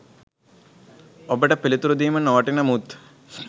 ඔබට පිළිතුරු දීම නොවටින මුත්